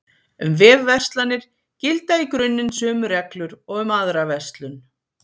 Um vefverslanir gilda í grunninn sömu reglur og um aðra verslun.